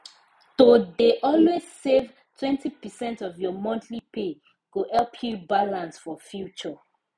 to dey always save twenty percent of your monthly pay go help you balance for future